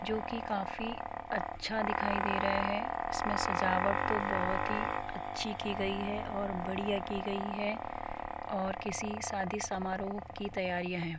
जोकि काफी अच्छा दिखाई दे रहा है इसमें सजावट तो बहुत ही अच्छी की गई है और बढ़िया की गई है और किसी शादी समारोह की तैयारियां हैं।